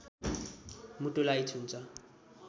मुटुलाई छुन्छ